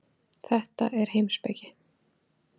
Þetta er heimspeki.